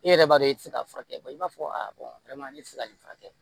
E yɛrɛ b'a dɔn i ti se ka furakɛ i b'a fɔ tɛ se ka nin furakɛ